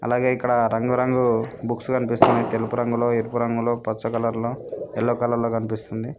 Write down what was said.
అలాగే ఇక్కడ రంగురంగు బుక్స్ కనిపిస్తున్నాయి తెలుపు రంగులో ఎరుపు రంగులో పచ్చ కలర్లో ఎల్లో కలర్ లో కనిపిస్తుంది.